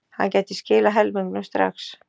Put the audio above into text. Hann gæti skilað helmingnum strax.